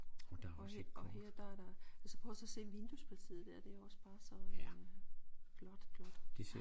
Og her og her der er der altså prøv så at se vinduespartiet dér det er jo også bare så øh flot flot